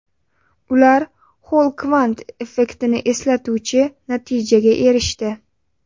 Ular Xoll kvant effektini eslatuvchi natijaga erishdi.